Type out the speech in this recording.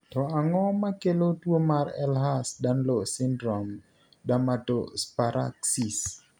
To ang'o makelo tuo mar Ehlers Danlos syndrome, dermatosparaxis?